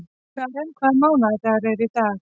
Karen, hvaða mánaðardagur er í dag?